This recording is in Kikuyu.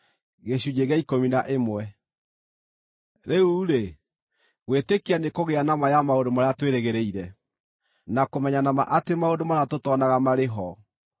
Rĩu-rĩ, gwĩtĩkia nĩkũgĩa na ma ya maũndũ marĩa twĩrĩgĩrĩire, na kũmenya na ma atĩ maũndũ marĩa tũtonaga marĩ ho.